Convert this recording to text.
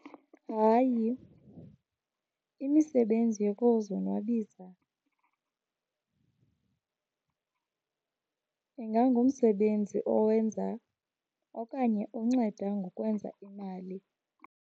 Hayi, imisebenzi yokuzonwabisa ingangumsebenzi owenza okanye onceda ngokwenza imali.